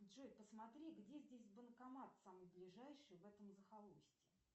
джой посмотри где здесь банкомат самый ближайший в этом захолустье